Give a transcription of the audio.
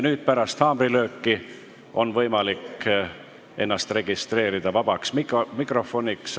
Pärast haamrilööki on võimalik ennast registreerida esinemiseks vabas mikrofonis.